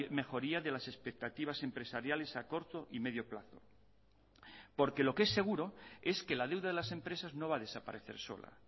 mejoría de las expectativas empresariales a corto y medio plazo porque lo que es seguro es que la deuda de las empresas no va a desaparecer sola